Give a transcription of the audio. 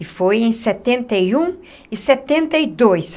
E foi em setenta e um e setenta e dois.